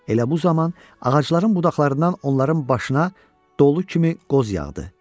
Elə bu zaman ağacların budaqlarından onların başına dolu kimi qoz yağdı.